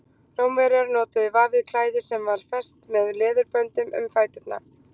rómverjar notuðu vafið klæði sem var fest með leðurböndum um fæturna